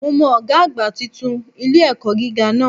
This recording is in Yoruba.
Mo mọ Ògá àgbà titun ilé-ẹ̀kọ́ gíga náà